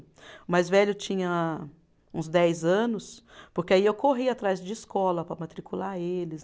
O mais velho tinha uns dez anos, porque aí eu corri atrás de escola para matricular eles.